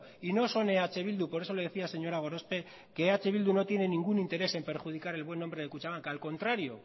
y no son eh bildu por eso le decía señora gorospe que eh bildu no tiene ningún interés en perjudicar el buen nombre de kutxabank al contrario